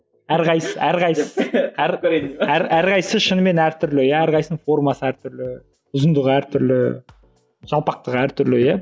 әр қайсысы әр қайсысы әр әр қайсысы шынымен әртүрлі иә әрқайсысының формасы әртүрлі ұзындығы әртүрлі жалпақтығы әртүрлі иә